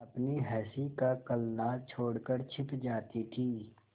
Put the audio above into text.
अपनी हँसी का कलनाद छोड़कर छिप जाती थीं